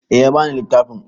Eh ya ba ni littafin.